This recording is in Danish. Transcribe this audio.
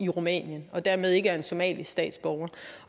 rumænien dermed ikke en somalisk statsborger